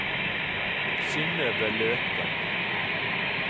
Synnøve Løken